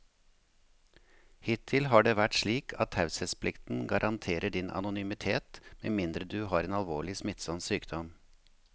Hittil har det vært slik at taushetsplikten garanterer din anonymitet med mindre du har en alvorlig, smittsom sykdom.